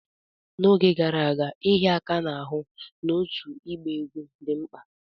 N'oge gara aga, ịhịa aka n'ahụ na otu ịgba egwú dị mkpa.